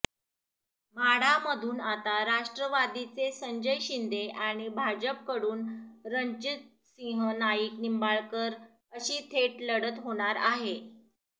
माढामधून आता राष्ट्रवादीचे संजय शिंदे आणि भाजपकडून रणजितसिंह नाईक निंबाळकर अशी थेट लढत होणार आहे